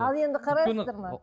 ал енді қарайсыздар ма